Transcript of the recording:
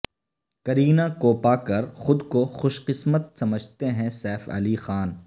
کرینہ کوپاکر خود کو خوش قسمت سمجھتے ہیں سیف علی خان